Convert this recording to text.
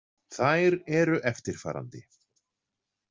Þær eru eftirfarandi.